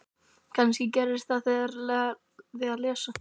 Kannski gerðist það þegar ég lærði að lesa.